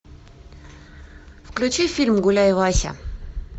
включи фильм гуляй вася